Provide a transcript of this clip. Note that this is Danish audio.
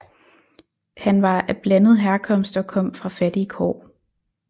Han var af blandet herkomst og kom fra fattige kår